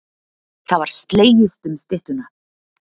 Það var slegist um styttuna.